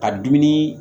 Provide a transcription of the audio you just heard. Ka dumuni